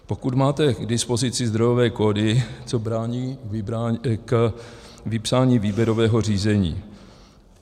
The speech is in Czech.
Pokud máte k dispozici zdrojové kódy, co brání k vypsání výběrového řízení?